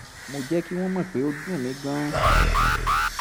mo jẹ́ kí wọ́n mọ̀ pé ó dùn mí gan-an